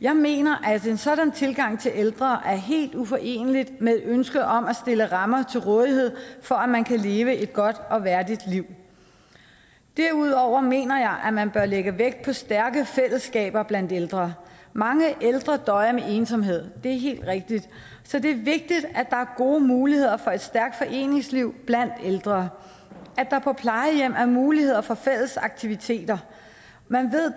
jeg mener at en sådan tilgang til ældre er helt uforenelig med ønsket om at stille rammer til rådighed for at man kan leve et godt og værdigt liv derudover mener jeg at man bør lægge vægt på stærke fællesskaber blandt ældre mange ældre døjer med ensomhed det er helt rigtigt så det er vigtigt at der er gode muligheder for et stærkt foreningsliv blandt ældre at der på plejehjem er mulighed for fælles aktiviteter man ved